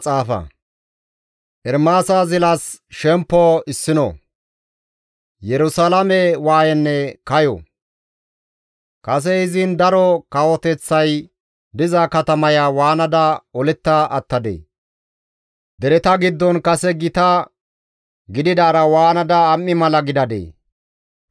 Kase izin daro kawoteththay diza katamaya waanada oletta attadee! Dereta giddon kase gita gididaara waanada am7i mala gidadee! Awuraajjata garsan godatto gididaara ha7i waanada aylle gidadee!